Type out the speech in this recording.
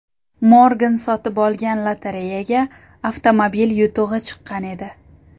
Morgan sotib olgan lotereyaga avtomobil yutug‘i chiqqan edi.